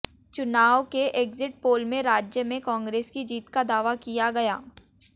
चुनाव के exit poll में राज्य में कांग्रेस की जीत का दावा किया गया